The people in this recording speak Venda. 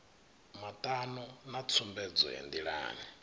matano na tsumbedzo ya ndilani